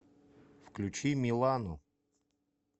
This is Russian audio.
включи милану